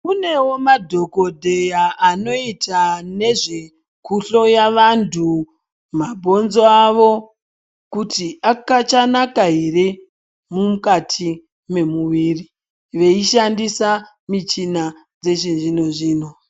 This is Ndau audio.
Kunewo madhokodheya anoita nezvekuhloya vantu mabhonzo kuti avo akachanaka ere mukati mwemuviri veishandisa michina dzechi zvino zvino.